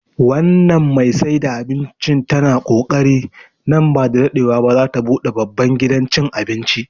Wannan mai saida abincin tana kokari, nan ba da daɗewa ba za ta buɗe babban gidan cin abinci